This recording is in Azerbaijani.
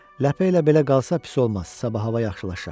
Ləpə ilə belə qalsa pis olmaz, sabah hava yaxşılaşar.